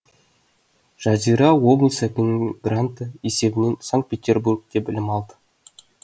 жазира облыс әкімінің гранты есебінен санкт петербургте білім алды